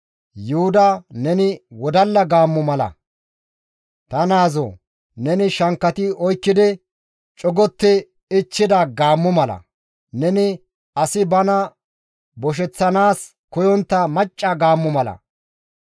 Yuhuda neni wodalla gaammo mala; ta naazoo! Neni shankkati oykkidi, cogotti ichchida gaammo mala. Neni asi bana bosheththanaas koyontta macca gaammo mala.